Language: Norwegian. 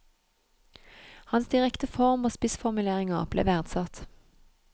Hans direkte form og spissformuleringer ble verdsatt.